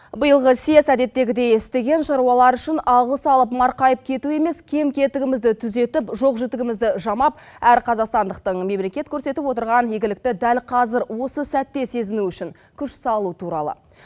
биылғы съез әдеттегідей істеген шаруалар үшін алғыс алып марқайып кету емес кем кетігімізді түзетіп жоқ жітігімізді жамап әр қазақстандықтың мемлекет көрсетіп отырған игілікті дәл қазір осы сәтте сезіну үшін күш салу туралы